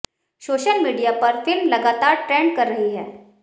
social media पर film लगातार trend कर रही है